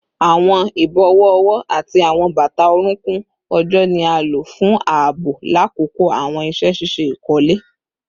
Awọn ibọwọ ọwọ ati awọn bata orunkun ojo ni a lo fun aabo lakoko awọn iṣẹ ṣiṣe ikole